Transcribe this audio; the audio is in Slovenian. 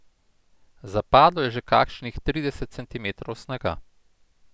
Zapadlo je že kakšnih trideset centimetrov snega.